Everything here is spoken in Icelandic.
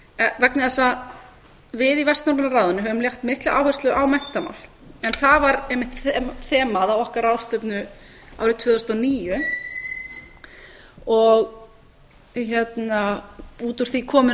vegna þess að við í vestnorræna ráðinu höfum lagt mikla áherslu á menntamál en það var einmitt þemað á okkar ráðstefnu árið tvö þúsund og níu og út úr því komu